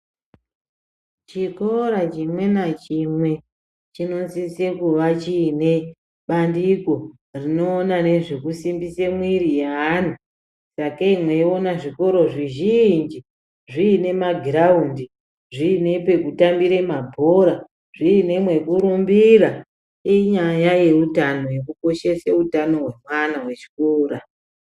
Chikora chimwe nachimwe chinosise kuva chine bandiko rinoona nezvekusimbisa mwiri yeanhu sakei mweiona zvikora zvizhinji zviine magiraundi ,zviine pekutambire mabhora ,zviine mwekurumbira , inyaya yeutano yekukoshese utano hwemwana wechikora.